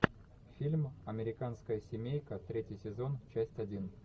фильм американская семейка третий сезон часть один